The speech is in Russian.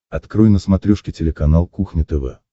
открой на смотрешке телеканал кухня тв